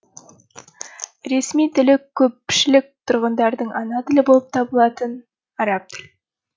ресми тілі көпшілік тұрғындардың ана тілі болып табылатын араб тіл